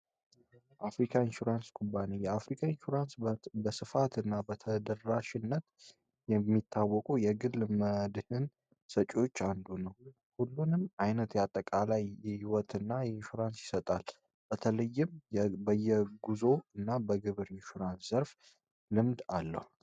አፍሪካ ኢንሹራንስ ኩባንያ የአፍሪካ በስፋትና በተደረራሽነት የሚታወቁ የግል መልዕክትን ሰጪዎች አንዱ ነው ሁሉንም አይነት ያጠቃላይ የህይወት እና የኢንሹራንስ ይሰጣል በተለይም ጉዞ እና በግብር ኢሹራብ ዘርፍ ልምድ አለው